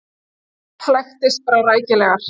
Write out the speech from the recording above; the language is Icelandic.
Flækist bara rækilegar.